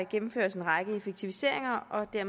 gennemføres en række effektiviseringer og at